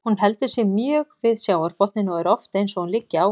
Hún heldur sig mjög við sjávarbotninn og er oft eins og hún liggi á honum.